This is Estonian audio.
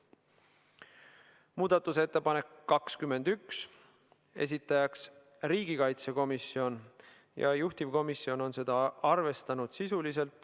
Muudatusettepanek nr 21, esitajaks on riigikaitsekomisjon ja juhtivkomisjon on arvestanud seda sisuliselt .